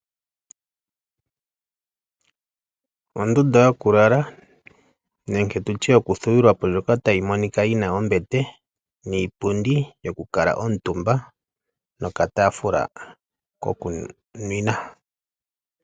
Ondunda yokulala nenge yokuthuwa po ndjoka tayi monika yi na ombete niipundi yokukuutumba nokataafula kokunwina.